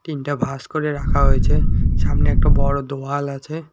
টিনটা ভাঁজ করে রাখা হয়েছে সামনে একটা বড়ো দোওয়াল আছে।